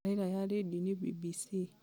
tabarĩra y rĩndiũ-inĩ b.b.c.